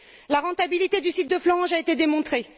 La rentabilité du site de Florange a été démontrée.